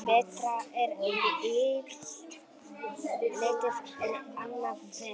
Betra er illt lítið en annað verra.